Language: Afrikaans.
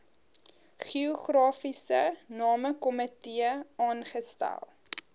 geografiese namekomitee aangestel